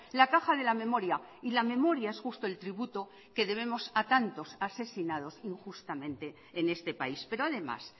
la caja de la memoria y la memoria es justo el tributo que debemos a tantos asesinados injustamente en este país pero además